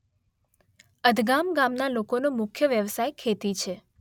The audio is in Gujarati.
અધગામ ગામના લોકોનો મુખ્ય વ્યવસાય ખેતી છે.